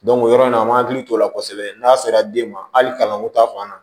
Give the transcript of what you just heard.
o yɔrɔ in na an m'an hakili t'o la kosɛbɛ n'a sera den ma hali kalanko ta fan na